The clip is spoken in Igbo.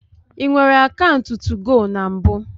I nwere akaụntụ 2go na mbụ?